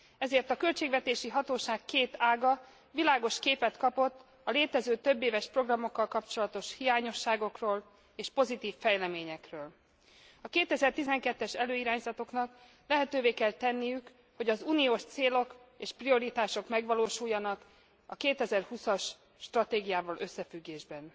Ezért a költségvetési hatóság két ága világos képet kapott a létező, több éves programokkal kapcsolatos hiányosságokról és pozitív fejleményekről. A 2012 es előirányzatoknak lehetővé kell tenniük, hogy az Uniós célok és prioritások megvalósuljanak a 2020 as stratégiával összefüggésben.